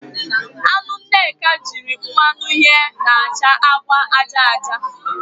Anụ Nneka ji mmanụ yee na-acha agba aja aja